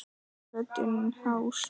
Röddin hás.